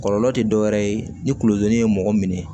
Kɔlɔlɔ tɛ dɔ wɛrɛ ye ni kulodonni ye mɔgɔ minɛ